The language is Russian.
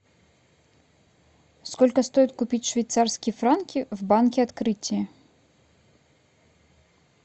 сколько стоит купить швейцарские франки в банке открытие